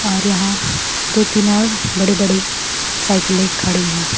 और यहां दो तीन और बड़े बड़े साइकिले खड़ी है।